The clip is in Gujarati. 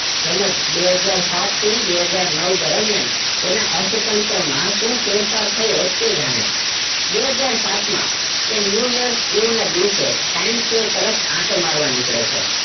તેમજ બે હજાર સાત થી બે હજાર નવ દરમિયાન તેના અર્થતંત્રમાં શું ફેરફાર થયો તે જાણે બે હજાર સાત માં તે new years ના દિવસે time square તરફ આંટો મારવા નીકળે છે